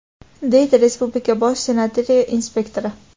deydi respublika bosh sanitariya inspektori.